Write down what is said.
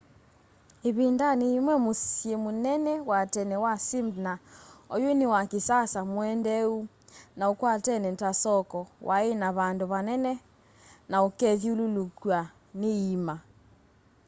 ivindani yimwe musyi munene wa tene wa smyrna oyu ni wa kisasa muendeeu na ukwatene ta soko wai na vandu vanene na ukethyululukwa ni iíma